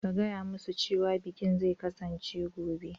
Ka gaya musu cewa bikin zai kasance gobe.